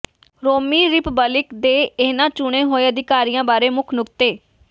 ਰੋਮੀ republic ਦੇ ਇਨ੍ਹਾਂ ਚੁਣੇ ਹੋਏ ਅਧਿਕਾਰੀਆਂ ਬਾਰੇ ਮੁੱਖ ਨੁਕਤੇ